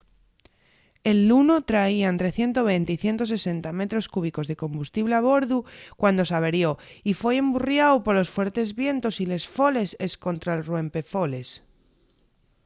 el luno traía ente 120 y 160 metros cúbicos de combustible a bordu cuando s’averió y foi emburriáu polos fuertes vientos y les foles escontra’l ruempefoles